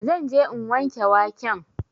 Zan je in wanke waken